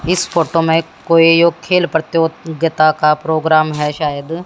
इस फोटो मे कोई यो खेल प्रतियोगिता का प्रोग्राम है शायद--